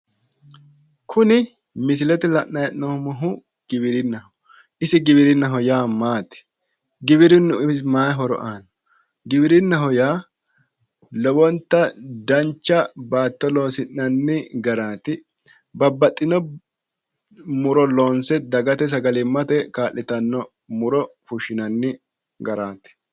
Kuni misilete aana la'nanni hee'noommohu giwirinnaho, isi giwirinnaho yaa maati? Giwirinnu umisi maay horo aanno? giwirinnaho yaa lowonta dancha batto loossinanni garraati, babbaxxino muro loonse dagate sagalimmate kaa'litanno muro fushshinanni garaati.